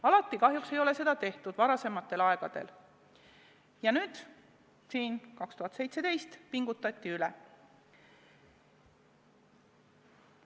Varasematel aegadel ei ole seda kahjuks alati tehtud ja aastal 2017 pingutati üle.